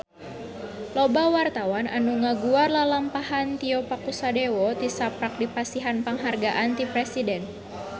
Loba wartawan anu ngaguar lalampahan Tio Pakusadewo tisaprak dipasihan panghargaan ti Presiden